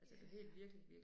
Ja ja